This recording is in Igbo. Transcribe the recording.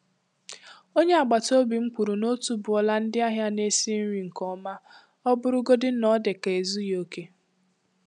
Onye agbata obi m kwuru na otuboala ndị ahịa na-esi nri nke ọma, ọ bụrụgodị na ọ dị ka ezughị okè.